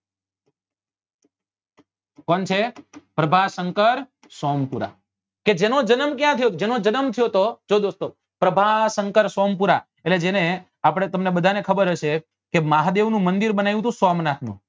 કોણ છે પ્રભાશંકર સોમપુરા કે જેનો જનમ ક્યા થયો હતો જેનો જનમ થયો હતો જો દોસ્તો પ્રભાસંકાર સોમપુરા એટલે જેને આપડે તમને ખબર હશે કે મહાદેવ નું મંદિર બનાવ્યું હતું સોમનાથ માં